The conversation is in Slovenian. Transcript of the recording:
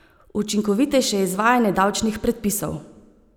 Učinkovitejše izvajanje davčnih predpisov.